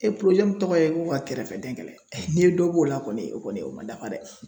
tɔgɔ ye ko ka kɛrɛfɛdɛn n'i ye dɔ b'o la kɔni o kɔni o man dafa dɛ.